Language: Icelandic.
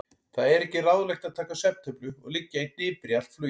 Það er ekki ráðlegt að taka svefntöflu og liggja í hnipri allt flugið.